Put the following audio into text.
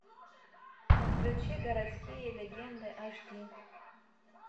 включи городские легенды аш ди